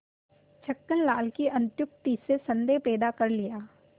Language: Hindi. छक्कन लाल की अत्युक्ति से संदेह पैदा कर लिया